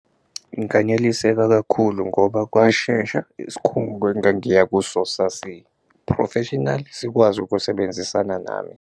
Nganeliseka kakhulu ngoba kwashesha isikhungo engangiya kuso sasiphrofeshinali, sikwazi ukusebenzisana nami.